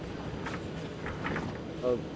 ઓ